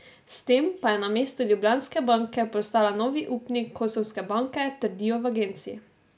S tem pa je namesto Ljubljanske banke postala novi upnik Kosovske banke, trdijo v agenciji.